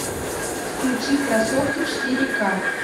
включи красотка четыре к